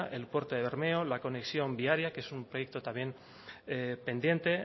el puerto de bermeo la conexión viaria que es un proyecto también pendiente